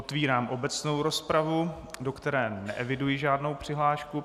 Otevírám obecnou rozpravu, do které neeviduji žádnou přihlášku.